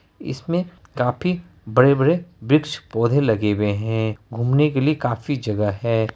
इसमे काफी बड़े-बड़े वृक्ष पौधे लगे हुए है घूमने के लिए काफी जगह है।